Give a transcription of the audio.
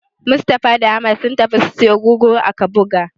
Mustapha da Ahmad sun tafi su siyo gurguru a Kabuga.